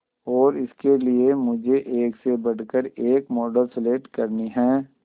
और इसके लिए मुझे एक से बढ़कर एक मॉडल सेलेक्ट करनी है